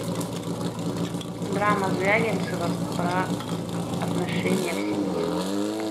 драма звягинцева про отношения в семье